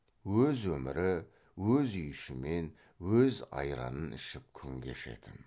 өз өмірі өз үйішімен өз айранын ішіп күн кешетін